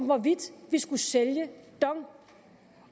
hvorvidt vi skulle sælge dong